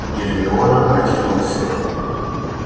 гермиона протиснулась следом